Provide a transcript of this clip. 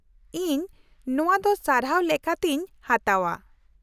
-ᱤᱧ ᱱᱚᱶᱟᱫᱚ ᱥᱟᱨᱦᱟᱣ ᱞᱮᱠᱟᱛᱤᱧ ᱦᱟᱛᱟᱣᱼᱟ ᱾